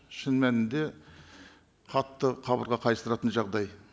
шын мәнінде қатты қабырға қайыстыратын жағдай